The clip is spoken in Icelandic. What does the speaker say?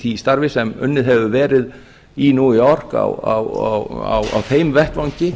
því starfi sem unnið hefur verið í new york á þeim vettvangi